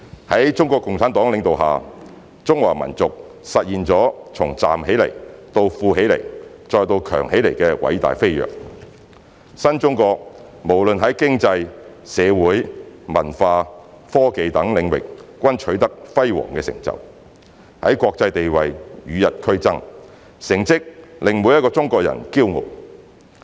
在中國共產黨領導下，中華民族實現了從站起來到富起來，再到強起來的偉大飛躍，新中國無論在經濟、社會、文化、科技等領域均取得輝煌成就，在國際地位與日俱增，成績令每一個中國人驕傲。